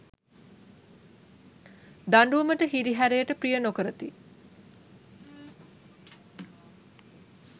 දඬුවමට හිරිහැරයට ප්‍රිය නොකරති.